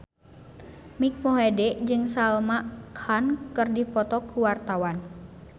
Mike Mohede jeung Salman Khan keur dipoto ku wartawan